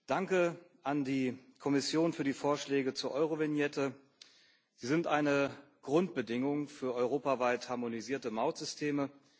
Danke an die Kommission für die Vorschläge zur Eurovignette. Sie sind eine Grundbedingung für europaweit harmonisierte Mautsysteme.